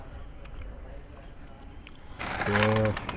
કે